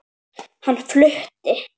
Hann flutti